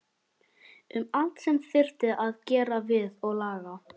Um allt sem þyrfti að gera við og laga.